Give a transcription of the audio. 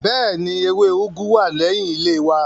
Bẹ́ẹ̀ni, ewé úgú wà lẹ́yìn ilé wa